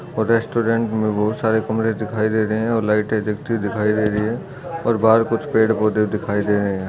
और रेसटुरेंट मे बहोत सारे कमरे दिखाई दे रहे है और लाइटे दिखती दिखाई दे रही है और बहुत कुछ पेड़ पौधे दिखाई दे रहे हैं।